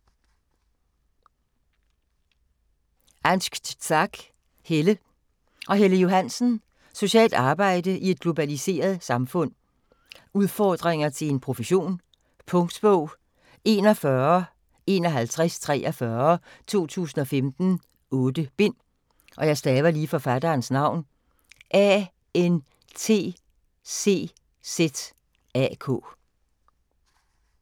Antczak, Helle og Helle Johansen: Socialt arbejde i et globaliseret samfund Udfordringer til en profession. Punktbog 415143 2015. 8 bind.